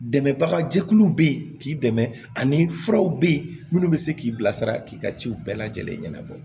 Dɛmɛbaga jɛkuluw bɛ yen k'i dɛmɛ ani furaw bɛ ye minnu bɛ se k'i bilasira k'i ka ciw bɛɛ lajɛlen ɲɛnabɔ